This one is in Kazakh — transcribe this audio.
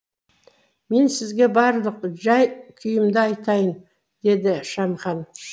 мен сізге барлық жай күйімді айтайын деді шамхан